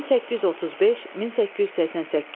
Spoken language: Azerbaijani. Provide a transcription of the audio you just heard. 1835-1888.